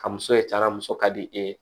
Ka muso ye cari muso ka di e ye